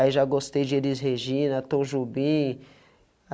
Aí, já gostei de Elis Regina, Tom Jobim.